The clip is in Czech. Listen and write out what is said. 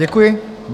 Děkuji.